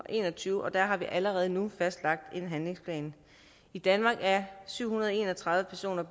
en og tyve og der har vi allerede nu fastlagt en handlingsplan i danmark er syv hundrede og en og tredive personer